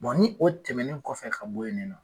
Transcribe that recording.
ni o tɛmɛnen kɔfɛ ka bɔ yen nin nɔ